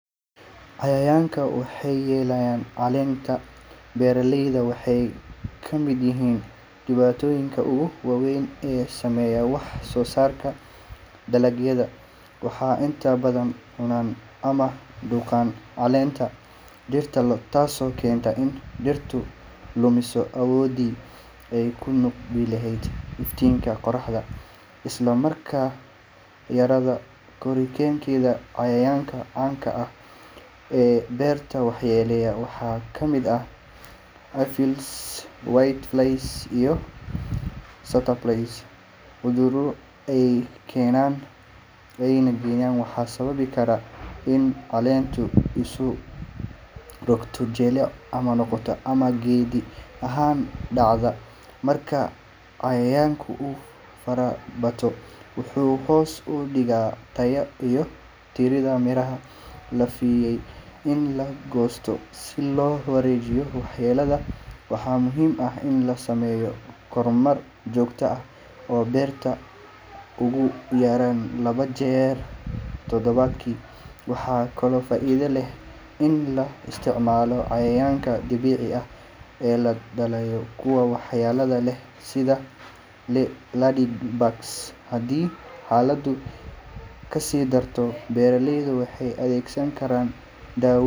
Cayayanka waxee yelayin calenta beera leyda waxee kamiid yihin inta ogu weyn wax sosarka waxaa inta badan calenta dirta, isla markas guri geenta canka ah oo beerta waxa yele waxaa kamiid ah cudhuro ee kenan waxan dacda, wuxuu hos udiga tayo lafilayo in lagosto si lo warejiyo wax yelada waxaa muhiim ah in la sameyo kor merto jogto ah oo beerta ugu yaran tadawaadki, waxaa kalo faidha leh in la isticmalo ee hadii xaladu kasi darto.